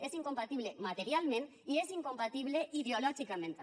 és incompatible materialment i és incompatible ideològicament també